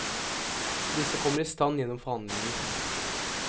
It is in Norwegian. Disse kommer i stand gjennom forhandlinger.